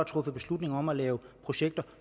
truffet beslutning om at lave projekter